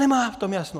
Nemá v tom jasno.